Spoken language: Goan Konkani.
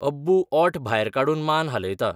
अब्बूओंठ भायर काडून मान हालयता.